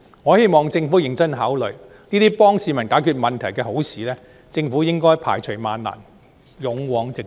我希望政府認真考慮，這些可以幫助市民解決問題的好事，政府應該排除萬難，勇往直前。